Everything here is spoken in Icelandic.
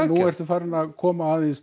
nú ertu farinn að koma aðeins